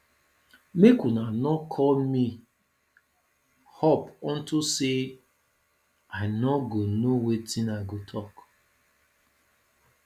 make una no call me up unto say i no go know wetin i go talk